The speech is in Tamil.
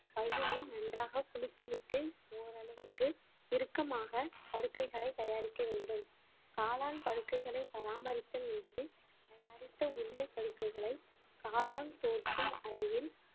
பையினை நன்றாக குலுக்கிவிட்டு ஓரளவுக்கு இறுக்கமாக படுக்கைகளை தயாரிக்க வேண்டும் காளான் படுக்கைகளை பராமரித்தல் என்பது தயாரித்த உருளைப் படுக்கைகளை காளான் தோன்றும் அறையில்